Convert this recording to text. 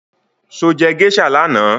Sọ jẹ́ geisha lánàá?